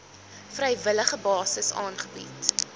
vrywillige basis aangebied